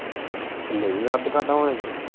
ਨਹੀਂ ਅੱਧ ਕਾਹਦਾ ਹੋ ਜਾਣਾ।